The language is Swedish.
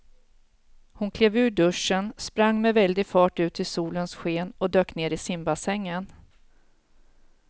Hon klev ur duschen, sprang med väldig fart ut i solens sken och dök ner i simbassängen.